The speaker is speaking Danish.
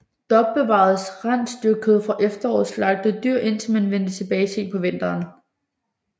Der opbevaredes rensdyrkød fra efterårets slagtede dyr indtil man vendte tilbage sent på vinteren